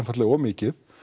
of mikið